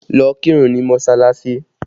Lọ kírun ní mọsalasi!